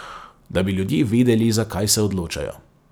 Da bi ljudje vedeli, za kaj se odločajo.